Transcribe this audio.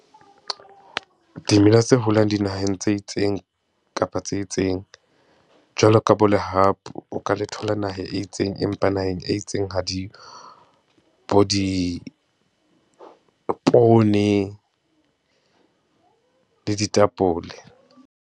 Dimela tse holang dinaheng tse itseng kapa tse itseng. Jwalo ka bo lehapu, o ka le thola naheng e itseng empa naheng e itseng ha di yo, bo dipone le ditapole.